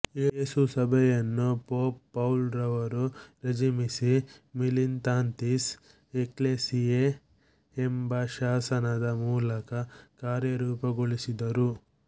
ಯೇಸು ಸಭೆಯನ್ನು pope Paul ರವರು ರೆಜಿಮಿನಿ ಮಿಲಿತಾಂತಿಸ್ ಎಕ್ಲೇಸಿಯೆ ಎಂಬ ಶಾಸನದ ಮೂಲಕ ಕರ್ಯರೂಪಗೊಳಿಸಿದರು